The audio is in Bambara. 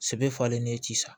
Sɛbɛ falen n'i ci sa